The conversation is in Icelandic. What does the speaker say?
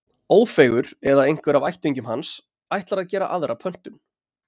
Ófeigur, eða einhver af ættingjum hans, ætlar að gera aðra pöntun.